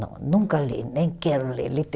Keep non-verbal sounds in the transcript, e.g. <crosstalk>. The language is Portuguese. Não, nunca li, nem quero ler. <unintelligible>